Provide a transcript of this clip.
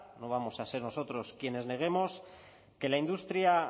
no vamos a ser nosotros quienes neguemos que la industria